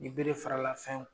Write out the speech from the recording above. Ni bere farala fɛn